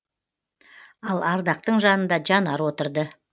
ал ардақтың жанында жанар отырды